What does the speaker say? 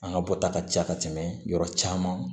An ka bɔta ka ca ka tɛmɛ yɔrɔ caman